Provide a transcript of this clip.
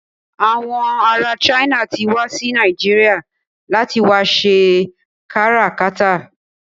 Àwọn ará China ti wá sí Nàìjíríà láti wá ṣe káràkátà.